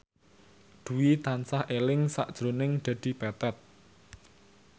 Dwi tansah eling sakjroning Dedi Petet